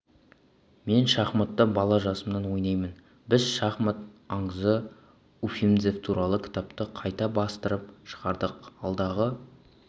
мен шахматты бала жасымнан ойнаймын біз шахмат аңызы уфимцев туралы кітапты қайта бастырып шығардық алдағы